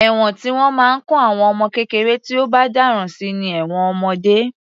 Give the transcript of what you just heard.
Ẹ̀wọ̀n tí wọ́n máa ń kó àwọn ọmọ kékeré tí ó bá dáràn sí ni ẹ̀wọ̀n ọmọdé.